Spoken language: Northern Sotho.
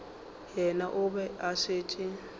yena o be a šetše